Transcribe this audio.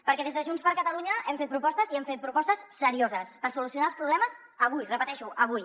perquè des de junts per catalunya hem fet propostes i hem fet propostes serioses per solucionar els problemes avui ho repeteixo avui